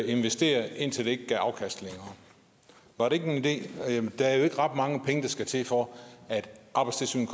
investere indtil det ikke et afkast var det ikke en idé det er jo ikke ret mange penge der skal til for at arbejdstilsynet